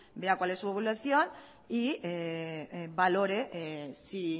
vea cuál es su evolución y valore sí